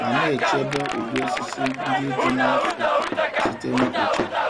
ma na-echebe ụdị osisi ndị dị n'afọ site na ikpochapụ.